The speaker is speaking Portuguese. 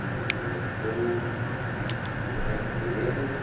O meu filho nasceu... Vocês casaram assim na igreja? Na igreja